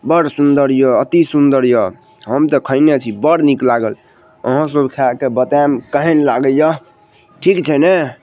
बड़ सूंदर ये अतिसुंदर ये हमते खयने छी बड़ निक लागल आहो सब खाय के बताएब केहेन लगे ये ठीक छै ने।